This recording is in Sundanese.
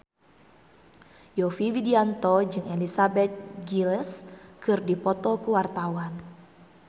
Yovie Widianto jeung Elizabeth Gillies keur dipoto ku wartawan